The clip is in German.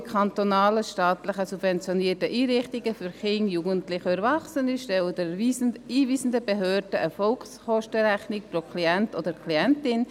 Alle kantonalen, staatlich subventionierten Einrichtungen für Kinder, Jugendliche und Erwachsene stellen den einweisenden Behörden eine Vollkostenrechnung pro Klient oder Klientin.